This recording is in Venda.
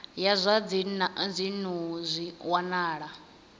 ya zwa dzinnu zwi wanala